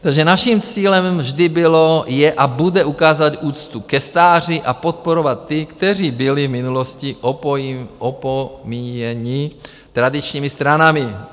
Takže naším cílem vždy bylo, je a bude ukázat úctu ke stáří a podporovat ty, kteří byli v minulosti opomíjeni tradičními stranami.